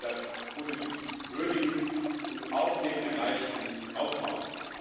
Wir sollten das positiv würdigen und auf dem Erreichten aufbauen.